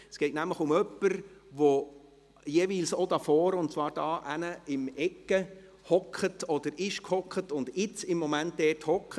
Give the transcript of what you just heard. Es geht nämlich um jemanden, der jeweils auch hier vorne, und zwar da drüben in der Ecke, sitzt oder gesessen ist und jetzt im Moment dort sitzt.